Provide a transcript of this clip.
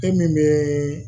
E min bɛ